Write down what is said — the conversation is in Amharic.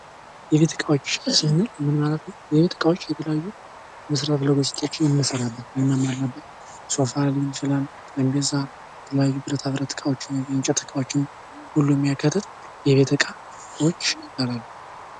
የቤት እቃዎች ስንል ምን ማለት ነው የቤት እቃዎች የተለያዩ መሳሪያ ነገሮችን እንሰራለን ሶፋ የተለያዩ መቀመጫውችን ሁሉንም የሚያካትት የቤት እቃዎች ይባላሉ።